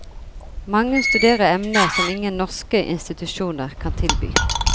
Mange studerer emner som ingen norske institusjoner kan tilby.